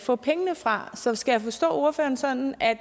få pengene fra så skal jeg forstå ordføreren sådan at